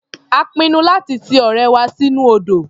A pinnu láti ti ọ̀rẹ́ wa sínú odò.